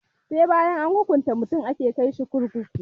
Sai bayan an hukunta mutum ake kai sa kurkuku